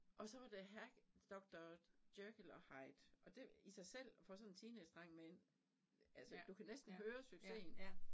Og så var det her doktor Jekyll og Hyde og det i sig selv for sådan en teenagedreng med en altså du kan næsten høre succesen